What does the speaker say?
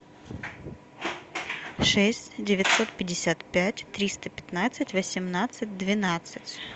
шесть девятьсот пятьдесят пять триста пятнадцать восемнадцать двенадцать